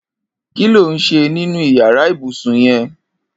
Kiló n ṣé ninú iyàrá ibùsùn yèn